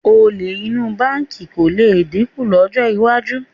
Olè inú báǹkì kò lè dínkù lọ́jọ́ iwájú